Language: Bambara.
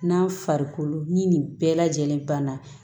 N'a farikolo ni nin bɛɛ lajɛlen banna